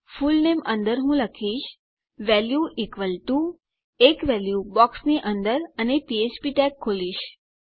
full name અંદર હું લખીશ વેલ્યુ ઇક્વલ ટીઓ એક વેલ્યુ બોક્સની અંદર અને પીએચપી ટેગ ખોલીશ